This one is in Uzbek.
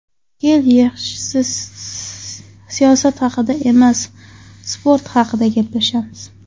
Kel, yaxshisi siyosat haqida emas, sport haqida gaplashamiz.